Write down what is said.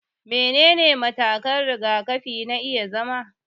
Menene matakan rigakafi na iya zama